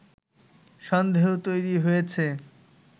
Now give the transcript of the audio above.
সন্দেহ তৈরি হয়েছে”